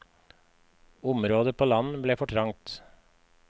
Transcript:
Området på land ble for trangt.